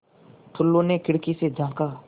टुल्लु ने खिड़की से झाँका